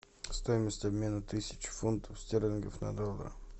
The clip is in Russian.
стоимость обмена тысячи фунтов стерлингов на доллары